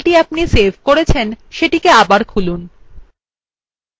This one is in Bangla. আমাদের দেখা ফাইলটিকে আবার খুলুন